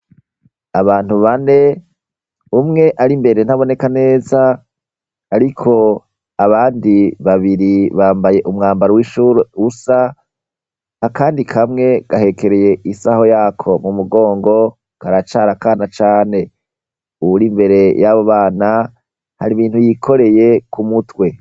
Abantu bane, umwe ari imbere ntaboneka neza ariko abandi babiri bambaye umwambaro w'ishure usa, akandi kamwe gahekereye isaho yako mu mugongo karacari akana cane. Uwuri imbere y'abo bana hari ibintu yikoreye ku mutwe.